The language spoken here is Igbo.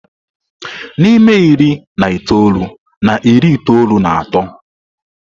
N'ime iri na itoolu na iri itoolu na otu, ewebata ụlọ akụ azụmaahịa na Naịjirịa.